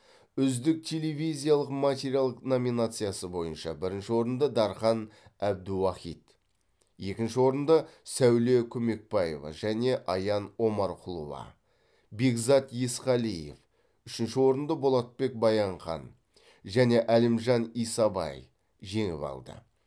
үздік телевизиялық материал номинациясы бойынша бірінші орынды дархан әбдіуахит екінші орынды сәуле көмекбаева және аян омарқұлова бекзат есқалиев үшінші орынды болатбек баянхан және әлімжан исабай жеңіп алды